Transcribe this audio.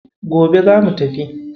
Gobe zamu tafi.